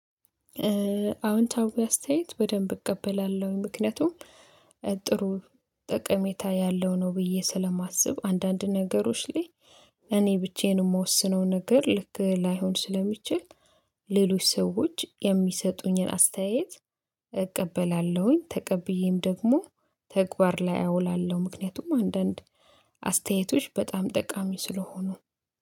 አዎንታዊ አስተያየት በደንብ እቀበላለሁኝ ምክንያቱም ጥሩ ጠቀሜታ ያለው ነው ብዬ ስለማስብ። አንዳንድ ነገሮች ላይ እኔ ብቻዬን የምወስነው ነገር ልክ ላይሆን ስለሚችል። ሌሎች ሰዎች የሚሰጡኝን አስተያየት እቀበላለሁኝ ተቀብዬም ደግሞ ተግባር ላይ አውላለሁ። ምክንያቱም አንዳንድ አስተያየቶች በጣም ጠቃሚ ስለሆኑ